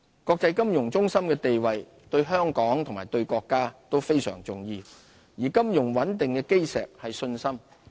國際金融中心的地位對香港和對國家都非常重要，而金融穩定的基石是信心。